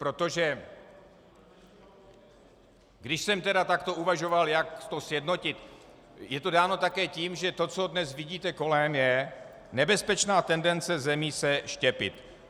Protože když jsem tedy takto uvažoval, jak to sjednotit, je to dáno také tím, že to, co dnes vidíte kolem, je nebezpečná tendence zemí se štěpit.